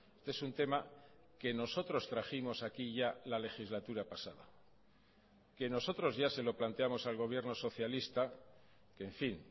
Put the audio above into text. este es un tema que nosotros trajimos aquí ya la legislatura pasada que nosotros ya se lo planteamos al gobierno socialista que en fin